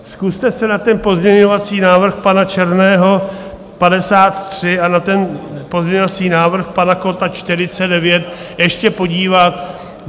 Zkuste se na ten pozměňovací návrh pana Černého 53 a na ten pozměňovací návrh pana Kotta 49 ještě podívat.